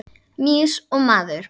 Mýs og maður.